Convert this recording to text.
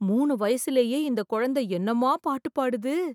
மூணு வயசுலயே இந்த குழந்த என்னமா பாட்டு பாடுது!